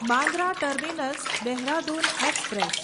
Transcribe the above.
Bandra terminus Dehradun express